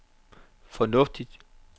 fornuftigt